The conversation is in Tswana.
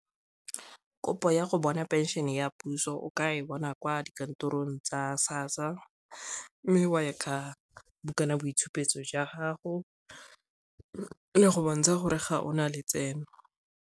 Kopo ya go bona pension ya puso o ka e bona kwa dikantorong tsa SASSA mme e ka bukanaboitshupo jwa gago le go bontsha gore ga o na letseno.